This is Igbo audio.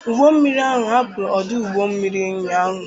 Ụgbọ mmiri ahụ hapụrụ ọdụ ụgbọ mmiri ụnyahụ.